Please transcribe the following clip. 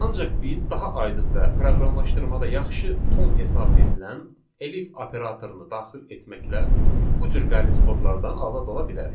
Ancaq biz daha aydın və proqramlaşdırmada yaxşı ton hesab edilən elif operatorunu daxil etməklə bu cür qəliz kodlardan azad ola bilərik.